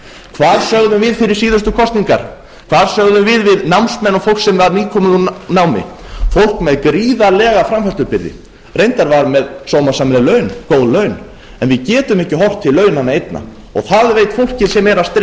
hvað sögðum við fyrir síðustu kosningar hvað sögðum við við námsmenn og fólk sem var nýkomið úr námi fólk með gríðarlega framfærslubyrði reyndar var það með sómasamleg laun góð laun en við getum ekki horft til launanna einna og það veit fólkið sem er að